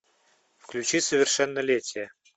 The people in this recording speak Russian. включи совершеннолетие